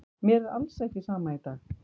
Mér er alls ekki sama í dag.